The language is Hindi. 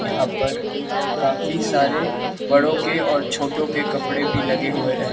यहां पर काफी सारे बड़ों के और छोटों के कपड़े भी लगे हुए हैं।